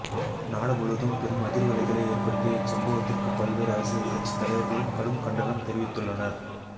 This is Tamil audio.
நாடு முழுவதும் பெரும் அதிர்வலைகளை ஏற்படுத்திய இச்சம்பவத்திற்கு பல்வேறு அரசியல் கட்சி தலைவர்களும் கடும் கண்டனம் தெரிவித்துள்ளனர்